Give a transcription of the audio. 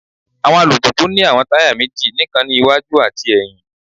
Awọn alupupu ni awọn taya meji nikan ni iwaju ati ẹhin